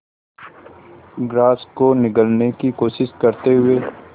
grass को निगलने की कोशिश करते हुए